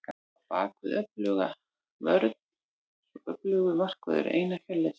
Á bakvið öfluga vörn verður svo öflugur markvörður, Einar Hjörleifsson.